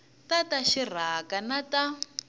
ta ta rixaka na ta